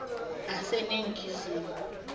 aseningizimu